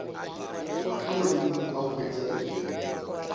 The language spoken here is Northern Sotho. mahlo godimo a hwetša legodimo